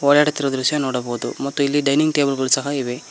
ಓಡಾಡುತ್ತಿರುವ ದೃಶ್ಯ ನೋಡಬಹುದು ಮತ್ತು ಇಲ್ಲಿ ಡೈನಿಂಗ್ ಟೇಬಲ್ ಗಳು ಸಹ ಇವೆ.